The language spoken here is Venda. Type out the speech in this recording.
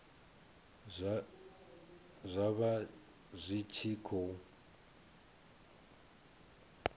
zwa vha zwi tshi khou